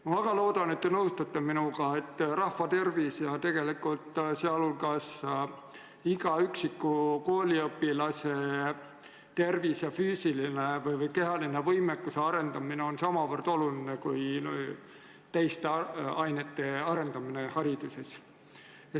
Ma väga loodan, et te nõustute minuga, et rahvatervis ja tegelikult iga üksiku kooliõpilase tervis ning nende kehalise võimekuse arendamine on hariduses samavõrra olulised kui teiste õppeainetega seotud oskuste arendamine.